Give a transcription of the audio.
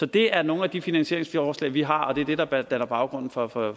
det er nogle af de finansieringsforslag vi har og det er det der danner baggrunden for for